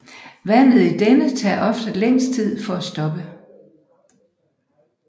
Vandet i denne tager ofte længst tid for at stoppe